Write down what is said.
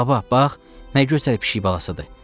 Baba, bax, nə gözəl pişik balasıdır!